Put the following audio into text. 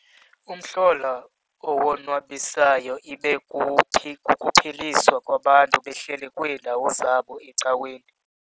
Umhlola owonwabisayo ibe kukuphiliswa kwabantu behleli kwiindawo zabo ecaweni.